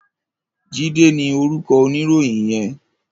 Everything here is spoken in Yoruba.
Jide ni órúkò óniróyin yèn